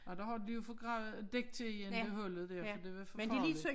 Og der har de jo fået gravet dækket til igen det hullet dér for det var for farligt